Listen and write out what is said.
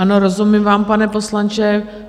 Ano, rozumím vám, pane poslanče.